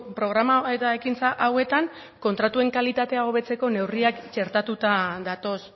programa eta ekintza hauetan kontratuen kalitatea hobetzeko neurriak txertatuta datoz